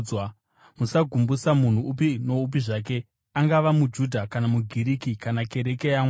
Musagumbusa munhu upi noupi zvake, angava muJudha, kana muGiriki kana kereke yaMwari,